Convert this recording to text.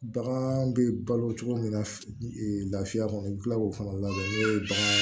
Bagan bɛ balo cogo min na lafiya kɔnɔ i bɛ kila k'o fana labɛn n'o ye bagan